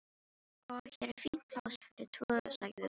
Sko, hér er fínt pláss fyrir tvo sagði Tóti.